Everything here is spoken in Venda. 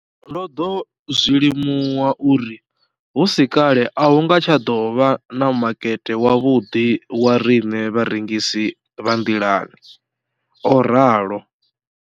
Ndo ḓo zwi limuwa uri hu si kale a hu nga tsha ḓo vha na makete wavhuḓi wa riṋe vharengisi vha nḓilani, o ralo.